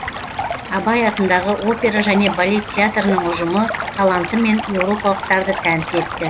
абай атындағы опера және балет театрының ұжымы талантымен еуропалықтарды тәнті етті